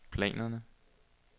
planerne